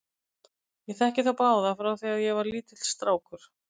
Ég þekki þá báða frá því að ég var lítill strákur.